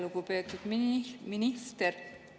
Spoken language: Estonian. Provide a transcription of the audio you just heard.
Lugupeetud minister!